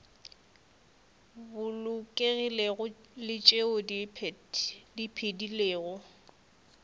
bolokegilego le tšeo di phedilego